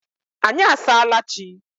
anyị asaala chi.